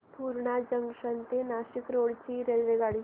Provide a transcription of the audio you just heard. Purna junction ते Nashik road ची रेल्वेगाडी